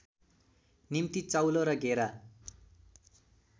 निम्ति चाउलो र घेरा